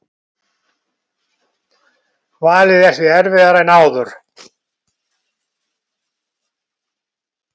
Valið er því erfiðara en áður